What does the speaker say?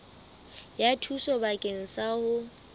ya thuso bakeng sa ho